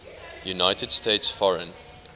united states foreign